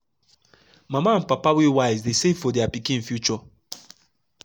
mama and papa wey wise dey safe for dia pikin future